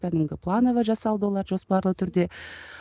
кәдімгі планово жасалды олар жоспарлы түрде